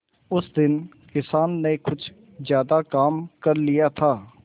उस दिन किसान ने कुछ ज्यादा काम कर लिया था